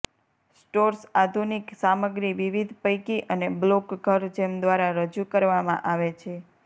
stores આધુનિક સામગ્રી વિવિધ પૈકી અને બ્લોક ઘર જેમ દ્વારા રજૂ કરવામાં આવે છે